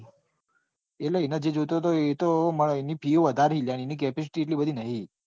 એટલે એને જે જોઈતો હતો એની fee વધારે છે એની capacity એટલી બધી નથી.